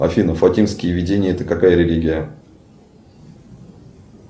афина фатимские видения это какая религия